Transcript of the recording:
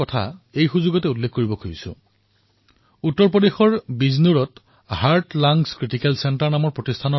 যেতিয়া মই স্বাস্থ্য সেৱাৰ কথা কবলৈ লৈছো তেনে ক্ষেত্ৰত মই উত্তৰ প্ৰদেশৰ বিজনোৰৰ চিকিৎসকসকলৰ সামাজিক প্ৰয়াসৰ বিষয়েও চৰ্চা কৰিব বিচাৰিছোঁ